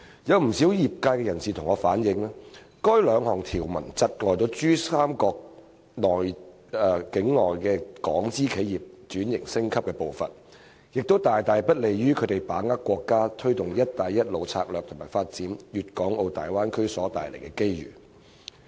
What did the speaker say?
有不少業內人士反映，該兩項條文窒礙珠江三角洲內港資企業升級轉型的步伐，亦不利於它們把握國家推行"一帶一路"策略及發展粵港澳大灣區所帶來的機遇。